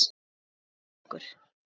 Alltof ungur.